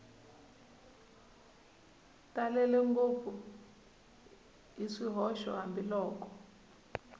talele ngopfu hi swihoxo hambiloko